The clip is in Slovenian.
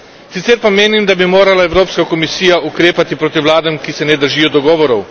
Sicer pa menim, da bi morala Evropska komisija ukrepati proti vladam, ki se ne držijo dogovorov.